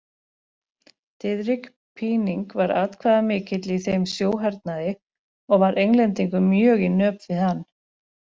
Diðrik Píning var atkvæðamikill í þeim sjóhernaði og var Englendingum mjög í nöp við hann.